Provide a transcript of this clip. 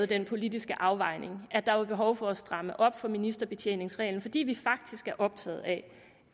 den politiske afvejning at der var behov for at stramme op for ministerbetjeningsreglen fordi vi faktisk er optaget af